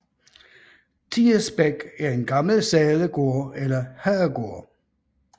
Tirsbæk er en gammel sædegård eller herregård